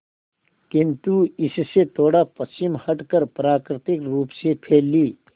किंतु इससे थोड़ा पश्चिम हटकर प्राकृतिक रूप से फैली